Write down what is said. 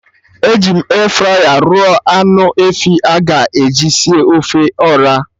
Eji m Efraya rụọ anụ efi a ga-eji sie ofe Ọra